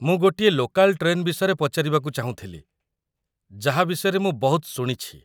ମୁଁ ଗୋଟିଏ local train ବିଷୟରେ ପଚାରିବାକୁ ଚାହୁଁଥିଲି, ଯାହା ବିଷୟରେ ମୁଁ ବହୁତ ଶୁଣିଛି ।